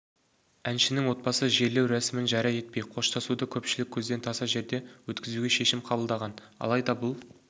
әншінің отбасы жерлеу рәсімін жария етпей қоштасуды көпшілік көзден таса жерде өткізуге шешім қабылдаған алайда бұл